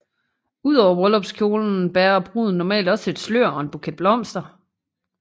Ud over bryllupskjolen bærer bruden normalt også et slør og en buket blomster